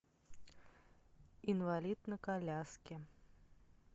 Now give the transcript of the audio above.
инвалид на коляске